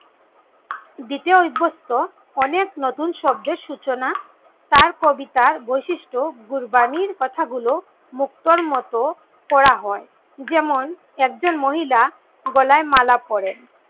দিতে অভস্ত অনেক নতুন শব্দের সূচনা তার কবিতা বৈশিষ্ট গুরবানীর কথা গুলো মুক্তোর মতো করা হয়। যেমন একজন মহিলা গলায় মালা পরেন,